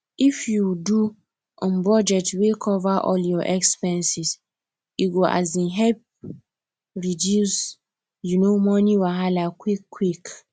if you do um budget wey cover all your expenses e go um help reduce um money wahala quick quick